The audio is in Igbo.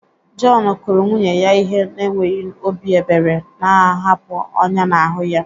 John kụrụ nwunye ya ihe n'enweghị obi ebere, na-ahapụ ọnyá n'ahụ ya.